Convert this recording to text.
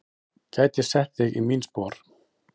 Gæti sett þig í mín spor.